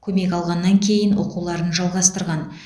көмек алғаннан кейін оқуларын жалғастырған